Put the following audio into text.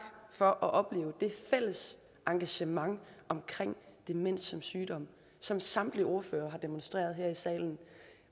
for at opleve det fælles engagement omkring demens som sygdom som samtlige ordførere har demonstreret her i salen